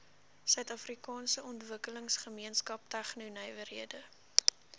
suidafrikaanse ontwikkelingsgemeenskap tegnonywerhede